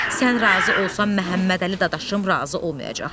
Sən razı olsan Məmmədəli dadaşım razı olmayacaq.